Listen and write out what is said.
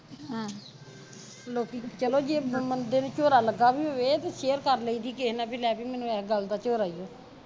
ਲੋਕੀ ਜੇ ਚਲੋ ਜੇ ਬੰਦੇ ਨੂੰ ਝੋਰਾ ਲੱਗਾ ਵੀ ਹੋਵੇ ਤੇ share ਕਰ ਲਈਦੀ ਕਿਹੇ ਨਾਲ ਬਈ ਲੈ ਬਈ ਮੈਨੂੰ ਇਹ ਗੱਲ ਦਾ ਝੋਰਾ ਈ ਓ